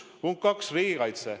Punkt kaks, riigikaitse.